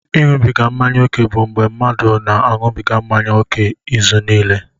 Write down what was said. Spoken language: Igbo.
Ịṅụbiga mmanya ókè bụ mgbe mmadụ na-aṅụbiga mmanya ókè izuniile.